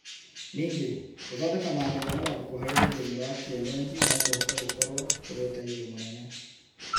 Ningĩ, gũthondeka maandĩko na mabuku harĩ rũthiomi rwa kĩenyenji no kũhote gũkorwo kũrĩ ũteithio mũnnene